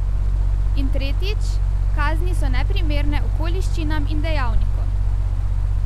In tretjič, kazni so neprimerne okoliščinam in dejavnikom.